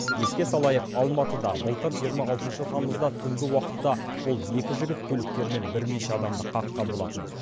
еске салайық алматыда былтыр жиырма алтыншы тамызда түнгі уақытта бұл екі жігіт көліктерімен бірнеше адамды қаққан болатын